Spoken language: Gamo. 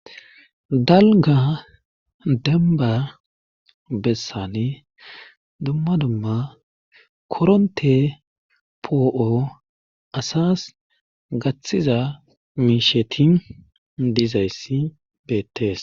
Dalgga denbba bessani dumma dumma koronte poo'o assas gaththiza miishsheti dizayssi beettees